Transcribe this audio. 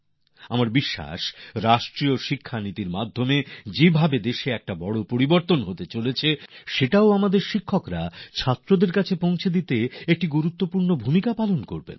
আমার আস্থা আছে যেভাবে দেশে জাতীয় শিক্ষানীতির মাধ্যমে বিরাট এক নতুন পরিবর্তন আসছে আমাদের শিক্ষকরা তার লাভ ছাত্রদের কাছে পৌঁছানোয় গুরুত্বপূর্ণ ভূমিকা পালন করবেন